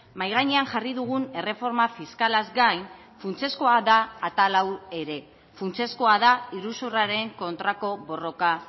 mahai gainean jarri dugun erreforma fiskalaz gain funtsezkoa da atal hau ere funtsezkoa da iruzurraren kontrako borroka